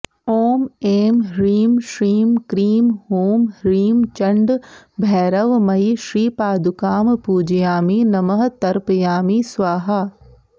ॐ ऐं ह्रीं श्रीं क्रीं हूं ह्रीं चण्ड भैरवमयी श्रीपादुकां पूजयामि नमः तर्पयामि स्वाहा